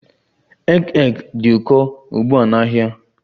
Egg egg dị ụkọ ugbu a n'ahịa